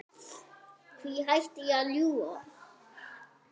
Hví ætti ég að ljúga?